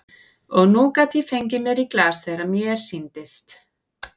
Og nú gat ég fengið mér í glas þegar mér sýndist.